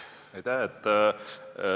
Aitäh!